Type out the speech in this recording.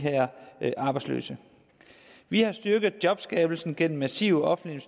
arbejdsløse vi har styrket jobskabelsen gennem massive offentlige